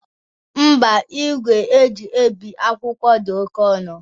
Ḿbà, igwe eji ebi akwụkwọ dị oke ọnụ.